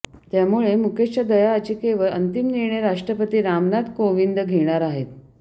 त्यामुळे मुकेशच्या दया याचिकेवर अंतिम निर्णय राष्ट्रपती रामनाथ कोविंद घेणार आहेत